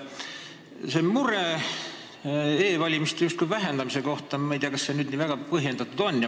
Ma ei tea, kas see mure e-valimise võimaluste justkui vähendamise pärast nüüd nii väga põhjendatud on.